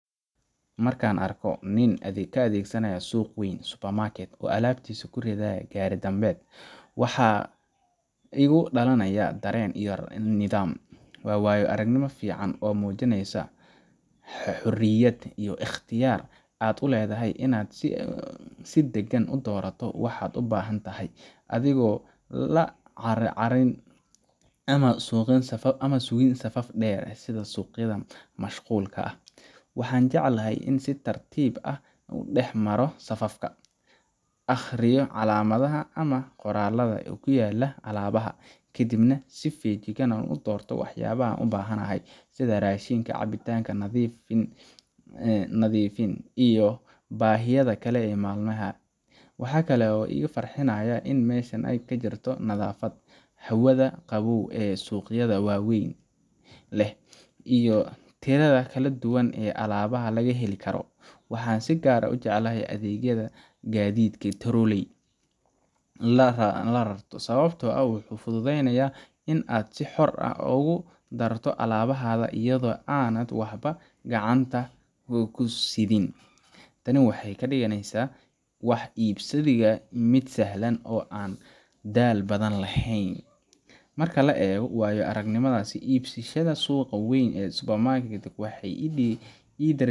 Markan arko nin ka adhegsanayo suq weyn supermarket oo alabtisa kuridhaaya waxaa igu dalanaya daren yar oo nidham waa wayo aragnima fican oo mujineysaa xoriyaad iyo iqtiyaar aad u ledhahay in aad si dagan u dorato waxaad u bahantahay athigo lacar carin ama sugin safaf deer leh sitha suginta mashqulka ah waxan jeclahay in si tartib ah u dex maro safafka aqriyo calamaadaha ama qoraladha ee kuyala alabaha kadiib nah si fijigan u dorto wax yabaha an u bahantahay sitha rashinka cabitanka nadhiifka jirin ee nadhiifiyo bahiyaada kale ee mal maha, waxaa kale oo iga farxinaya in ee meshan tahay nadhafaad hawaaada qawow ee suqyaada wawen leh iyo tiradha kala duwan ee alabaha laga heli karo waxaa si gar ah u jecelahay adhegyaada gadidka lararto sawabto ah wuxuu fuduudeynaya in aad si xor ah ogu darto alabahaga iyadha oo ana waxba gacanta kugu sithin tani waxee kadiganeysaa wax ibsadiga miid sahlan oo an dal badan lahen, marki la ego wayo aragnimada kala ibsashaada suqa weyn ee supermarket waxee idiri.